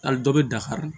Hali dɔ bɛ dakari